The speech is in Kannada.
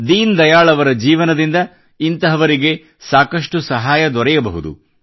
ದೀನ್ ದಯಾಳ್ ಅವರ ಜೀವನದಿಂದ ಇಂತಹವರಿಗೆ ಸಾಕಷ್ಟು ಸಹಾಯ ದೊರೆಯಬಹುದು